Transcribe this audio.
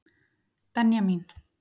Benjamín